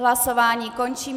Hlasování končím.